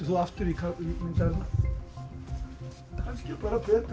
þú aftur í myndavélina kannski bara betra